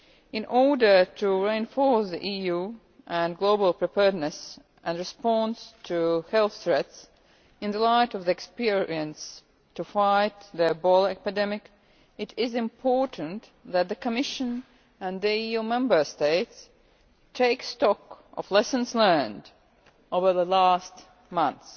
In order to reinforce the EU and global preparedness and response to health threats in the light of the experience to fight the Ebola epidemic, it is important that the Commission and the EU Member States take stock of lessons learned over the last month.